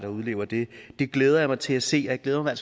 og udlever det det glæder jeg mig til at se og jeg glæder mig i